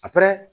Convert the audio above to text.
A